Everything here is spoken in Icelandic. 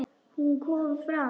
Hún kom fram.